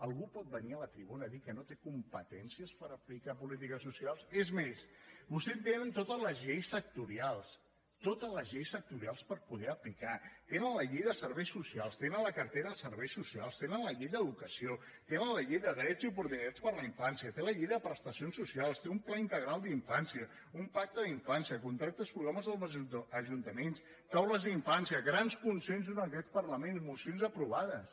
algú pot venir a la tribuna a dir que no té competències per aplicar polítiques socials és més vostès tenen totes les lleis sectorials totes les lleis sectorials per poder aplicar tenen la llei de serveis socials tenen la cartera de serveis socials tenen la llei d’educació tenen la llei de drets i oportunitats per a la infància tenen la llei de prestacions socials té un pla integral d’infància un pacte d’infància contractes programa amb els ajuntaments taules d’infància grans consensos en aquest parlament mocions aprovades